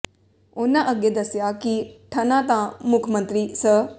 ਉਨ੍ਹਾਂ ਅੱਗੇ ਦੱਸਿਆ ਕਿ ਠਨਾ ਤਾਂ ਮੁੱਖ ਮੰਤਰੀ ਸ